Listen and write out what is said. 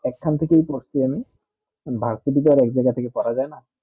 এইখান থেকে ই করছি আমি varsity তে আর এক জায়গা থেকে করা যায় না